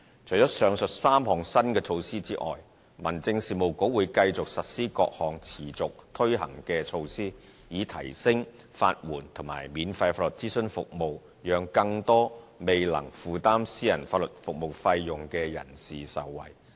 除了上述3項新措施外，民政事務局會繼續實施各項持續推行的措施，以提升法援及免費法律諮詢服務，讓更多未能負擔私人法律服務費用的人士受惠。